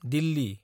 Delhi